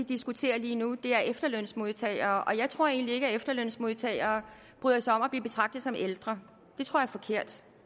diskuterer lige nu det er efterlønsmodtagere og jeg tror egentlig ikke at efterlønsmodtagere bryder sig om at blive betragtet som ældre